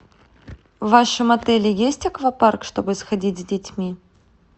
в вашем отеле есть аквапарк чтобы сходить с детьми